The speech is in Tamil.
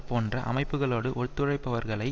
போன்ற அமைப்புக்களோடு ஒத்துழைப்பவர்களை